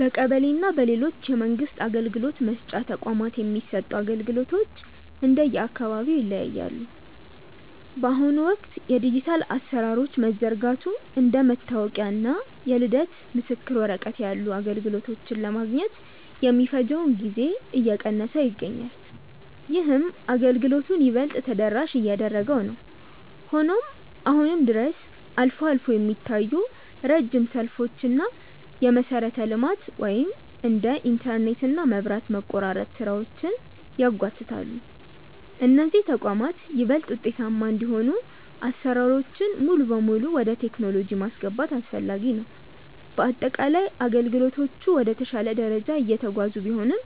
በቀበሌ እና በሌሎች የመንግስት አገልግሎት መስጫ ተቋማት የሚሰጡ አገልግሎቶች እንደየአካባቢው ይለያያሉ። በአሁኑ ወቅት የዲጂታል አሰራሮች መዘርጋቱ እንደ መታወቂያ እና የልደት ምስክር ወረቀት ያሉ አገልግሎቶችን ለማግኘት የሚፈጀውን ጊዜ እየቀነሰው ይገኛል። ይህም አገልግሎቱን ይበልጥ ተደራሽ እያደረገው ነው። ሆኖም አሁንም ድረስ አልፎ አልፎ የሚታዩ ረጅም ሰልፎች እና የመሰረተ ልማት (እንደ ኢንተርኔት እና መብራት) መቆራረጥ ስራዎችን ያጓትታሉ። እነዚህ ተቋማት ይበልጥ ውጤታማ እንዲሆኑ አሰራሮችን ሙሉ በሙሉ ወደ ቴክኖሎጂ ማስገባት አስፈላጊ ነው። በአጠቃላይ አገልግሎቶቹ ወደ ተሻለ ደረጃ እየተጓዙ ቢሆንም፣